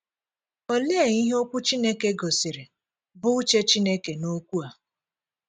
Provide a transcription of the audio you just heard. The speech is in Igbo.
Olee ihe Okwu Chineke gosiri bụ́ uche Chineke n’okwu a? ’